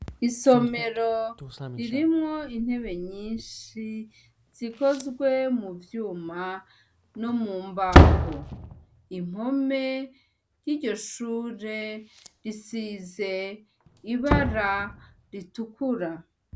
Isomero ririmwo intebe nyinshi ,zikozwe muvyuma nomumbaho , impome ziryo shure zisize ibara ritukura .